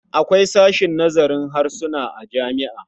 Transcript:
Akwai sashen nazarin harsuna a jami'a.